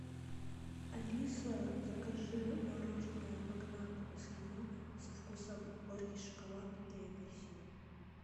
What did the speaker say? алиса закажи мороженое магнат эскимо со вкусом горький шоколад и апельсин